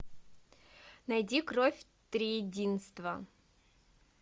найди кровь триединства